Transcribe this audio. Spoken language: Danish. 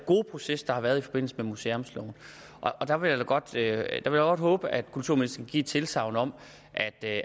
gode proces der har været i forbindelse med museumsloven der vil jeg da godt håbe at kulturministeren vil give et tilsagn om